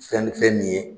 Fɛn fɛn nin ye